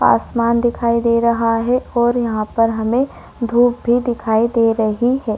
आसमान दिखाई दे रहा है और यहाँ पर हमें धूप भी दिखाई दे रही है।